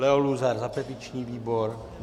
Leo Luzar za petiční výbor?